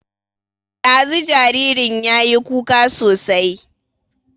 Ɗazu jaririn yayi kuka sosai